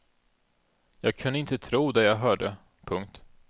Jag kunde inte tro det jag hörde. punkt